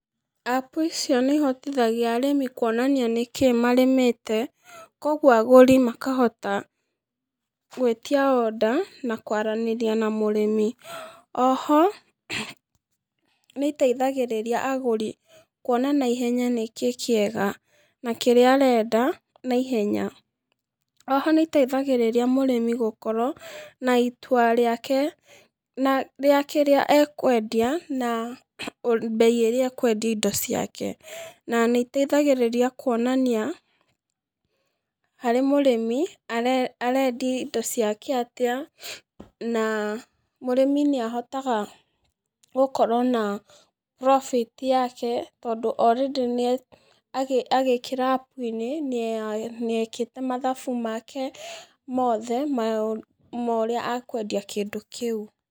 App icio nĩihotithagia arĩmi kuonania nĩkĩ marĩmĩte, koguo agũri makahota gwĩtia order na kwaranĩria na mũrĩmi, oho, nĩteithagĩrĩria agũri kuona naihenya nĩkĩ kĩega, na kĩrĩa arenda naihenya, oho nĩteithagĩrĩria mũrĩmi gũkorwo na itua rĩake, na rĩa kĩrĩa ekwendia na mbei ĩrĩa ekwendia indo ciake, na nĩteithagĩrĩria kuonania harĩ mũrĩmi are arendia indo ciake atĩa, na, mũrĩmi nĩahotaga gũkorwo na, profit ] yake, tondũ orĩndĩ nĩa, agĩ agĩkĩra App-inĩ, niye nĩekĩte mathabu make mothe maũ ma ũrĩa ekwendia kĩndũ kĩu.